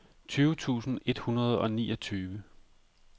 tyve tusind et hundrede og niogtyve